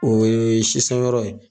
O ye sisan yɔrɔ ye